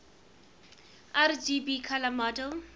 rgb color model